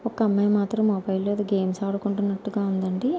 ఒక అమ్మాయి మాత్రం మొబైల్లో ఏదో గేమ్స్ అడ్డుకున్నట్టు గా ఉందండి.